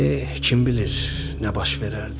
Eh, kim bilir nə baş verərdi?